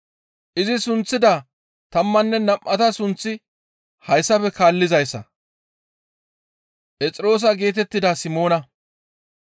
Izi sunththida tammanne nam7ata sunththi hayssafe kaallizayssa; Phexroosa geetettida Simoona,